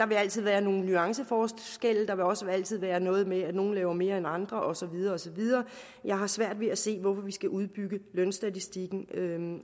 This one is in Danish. altid være nogle nuanceforskelle der vil også altid være noget med at nogle laver mere end andre og så videre og så videre jeg har svært ved at se hvorfor vi skal udbygge lønstatistikken